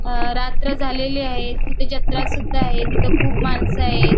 अ रात्र झालेली आहे. तिथे जत्रा सुद्धा आहे. तिथं खूप माणस आहेत.